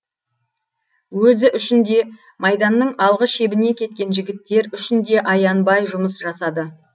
өзі үшін де майданның алғы шебіне кеткен жігіттер үшін де аянбай жұмыс жасады